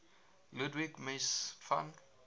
ludwig mies van